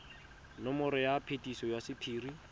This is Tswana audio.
nomoro ya phetiso ya sephiri